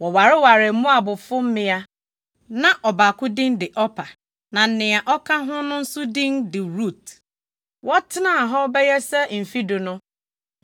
Wɔwarewaree Moabfo mmea. Na ɔbaako din de Orpa na nea ɔka ho no nso din de Rut. Wɔtenaa hɔ bɛyɛ sɛ mfe du no,